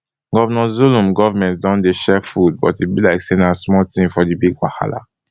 governor zulum goment don dey share food but e be like say na small tin for di big wahala